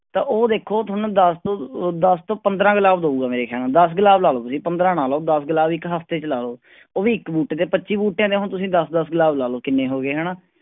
ਤਾਂ ਉਹ ਦੇਖੋ ਤੁਹਾਨੂੰ ਦਸ ਤੋਂ ਦਸ ਤੋਂ ਪੰਦਰਾਂ ਗੁਲਾਬ ਦਊਗਾ ਮੇਰੇ ਖਿਆਲ ਨਾਲ, ਦਸ ਗੁਲਾਬ ਲਾ ਲਓ ਤੁਸੀਂ ਪੰਦਰਾਂ ਨਾ ਲਾਓ, ਦਸ ਗੁਲਾਬ ਇੱਕ ਹਫ਼ਤੇ ਚ ਲਾ ਲਓ ਉਹ ਵੀ ਇੱਕ ਬੂਟੇ ਤੇ ਪੱਚੀ ਬੂਟਿਆਂ ਦੇ ਹੁਣ ਤੁਸੀਂ ਦਸ ਦਸ ਗੁਲਾਬ ਲਾ ਲਓ ਕਿੰਨੇ ਹੋ ਗਏ ਹਨਾ,